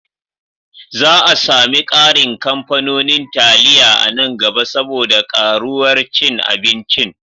Za a sami ƙarin kamfanonin taliya a nan gaba saboda ƙaruwar cin abincin.